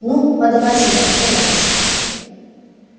ну подавай сюда и товарищ